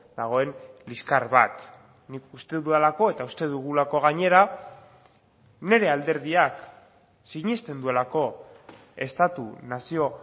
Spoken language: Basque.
dagoen liskar bat nik uste dudalako eta uste dugulako gainera nire alderdiak sinesten duelako estatu nazio